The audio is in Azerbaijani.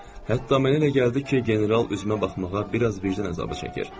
Hətta mənə elə gəldi ki, general üzümə baxmağa biraz vicdan əzabı çəkir.